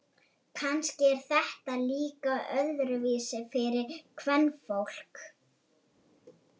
Kannski er þetta líka öðruvísi fyrir kvenfólk.